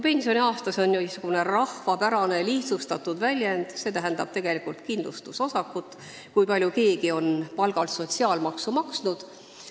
"Pensioniaasta" on muidugi rahvapärane lihtsustatud sõna, ma mõtlen tegelikult kindlustusosakut, kui palju keegi on palgalt sotsiaalmaksu maksnud.